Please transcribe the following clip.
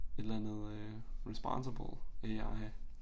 Et eller andet øh Responsible AI